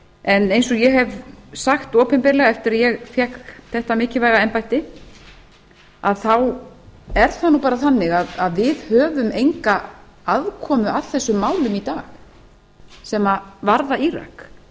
en eins og ég hef sagt opinberlega eftir að ég fékk þetta mikilvæga embætti þá er það nú bara þannig að við höfum enga aðkomu að þessum málum í dag sem varða írak það